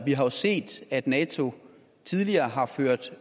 vi har jo set at nato tidligere har ført